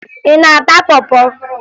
Ị na-ata pọ pọ?